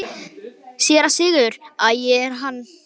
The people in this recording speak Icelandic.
SÉRA SIGURÐUR: Æ, það er hann!